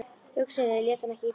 Hugsunin lét hann ekki í friði.